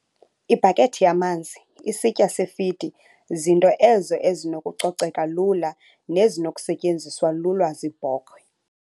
Ibhakethi yamanzi, isitya sefidi zinto ezo ezinokucoceka lula nezinokusetyenziswa lula ziibhokhwe.